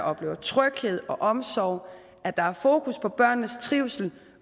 oplever tryghed og omsorg og at der er fokus på børnenes trivsel